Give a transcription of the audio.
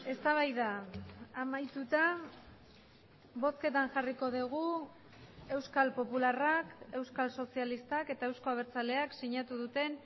eztabaida amaituta bozketan jarriko dugu euskal popularrak euskal sozialistak eta euzko abertzaleak sinatu duten